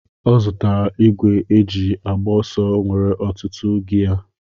Ọ zụtara igwe ejị agba ọsọ nwere ọtụtụ giyé